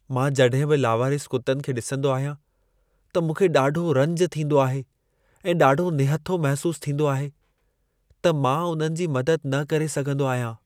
मां जॾहिं बि लावारिस कुतनि खे ॾिसंदो आहियां, त मूंखे ॾाढो रंज थींदो आहे ऐं ॾाढो निहथो महसूस थींदो आहे, त मां उन्हनि जी मदद न करे सघंदो आहियां।